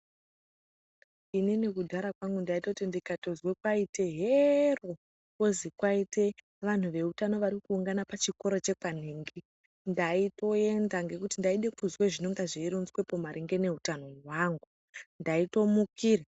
Inini kudhara kwangu ndaitoti ndikatozwa kwaite heroo!kwozi kwaite vantu veutano varikuungana pachikora chekwanhingi ndaitoenda ngekuti ndaide kuzwa zvinonga zveironzwepo maringe neutano hwangu ndaitomukira .